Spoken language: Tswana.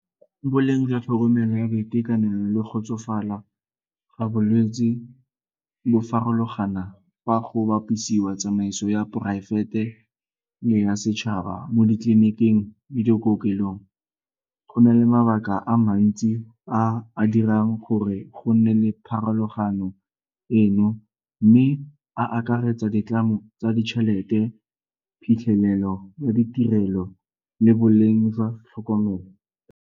Boleng jwa tlhokomelo ya boitekanelo le go tsofala ga bolwetsi bo farologana fa go bapisiwa tsamaiso ya poraefete le ya setšhaba mo ditleliniking le dikokelong. Go na le mabaka a mantsi a a dirang gore go nne le pharologano eno mme a akaretsa ditlamo tsa ditšhelete, phitlhelelo ya ditirelo le boleng jwa tlhokomelo.